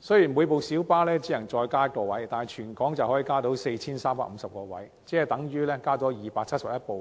雖然每輛小巴只能增加1個位，但全港小巴總共可以增加 4,350 個位，等於增加271輛